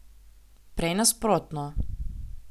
Prej nasprotno.